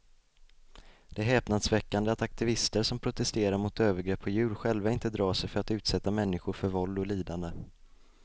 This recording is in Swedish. Det är häpnadsväckande att aktivister som protesterar mot övergrepp på djur själva inte drar sig för att utsätta människor för våld och lidande.